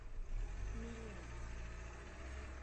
мелеуз